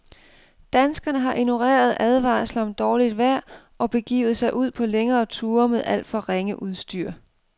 Danskerne har ignoreret advarsler om dårligt vejr og begivet sig ud på længere ture med alt for ringe udstyr.